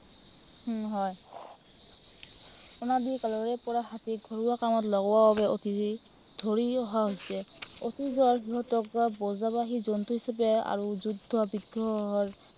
উম হয়। অনাদি কালৰে পৰা হাতীক ঘৰুৱা কামত লগোৱাৰ বাবে অতি ধৰি অহা হৈছে। অতীজৰে সময়ৰ পৰা বোজাবাহী জন্তু হিচাপে আৰু যুদ্ধ বিগ্ৰহৰ